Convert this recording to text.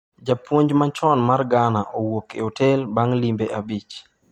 Japuonj machon mar Ghana owuok e otel bang' wimbe abich